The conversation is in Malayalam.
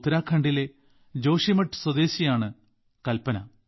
ഉത്തരാഖണ്ഡിലെ ജോഷിമഠ് സ്വദേശിയാണ് കൽപന